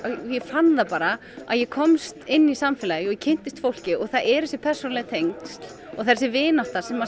ég fann það bara að ég komst inn í samfélagið og ég kynntist fólki og það eru þessi persónulegu tengsl og þessi vinátta sem